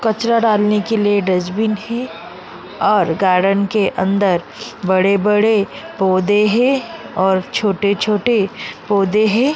कचरा डालने के लिए डस्टबिन है और गार्डन के अंदर बड़े बड़े पौधे हैं और छोटे छोटे पौधे हैं।